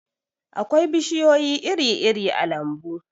akwai bishiyoyi iri-iri a lambu